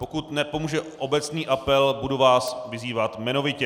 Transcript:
Pokud nepomůže obecný apel, budu vás vyzývat jmenovitě.